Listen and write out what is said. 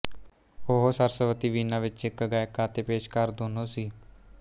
ਉਹ ਸਰਸਵਤੀ ਵੀਨਾ ਵਿਚ ਇਕ ਗਾਇਕਾ ਅਤੇ ਪੇਸ਼ਕਾਰ ਦੋਨੋਂ ਸੀ